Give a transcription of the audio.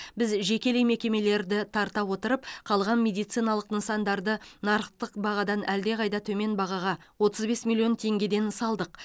біз жекелей мекемелерді тарта отырып қалған медициналық нысандарды нарықтық бағадан әлде қайда төмен бағаға отыз бес миллион теңгеден салдық